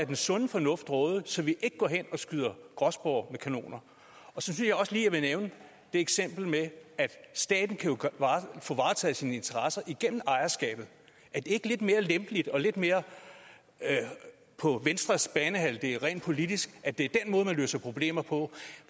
den sunde fornuft råde så vi ikke går hen og skyder gråspurve med kanoner så synes jeg også lige jeg vil nævne eksemplet med at staten jo kan få varetaget sine interesser igennem ejerskabet er det ikke lidt mere lempeligt og lidt mere på venstres banehalvdel rent politisk at det er den måde man løser problemer på